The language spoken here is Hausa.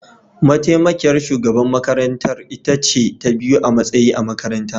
Mataimakiyar shugaban makarantar ita ce ta biyu a matsayi a makaranta